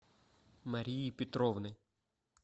марии петровны